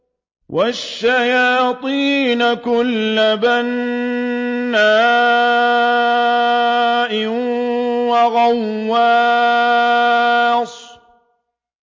وَالشَّيَاطِينَ كُلَّ بَنَّاءٍ وَغَوَّاصٍ